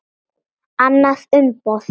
Annað umboð.